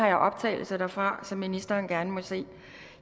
jeg har optagelser derfra som ministeren gerne må se